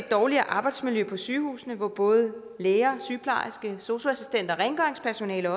dårligere arbejdsmiljø på sygehusene hvor både læger sygeplejersker sosu assistenter og rengøringspersonale